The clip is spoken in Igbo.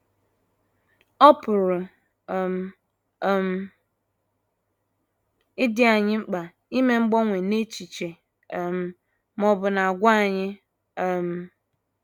Ọ pụrụ um um ịdị anyị mkpa ime mgbanwe n’echiche um ma ọ bụ n’àgwà anyị. um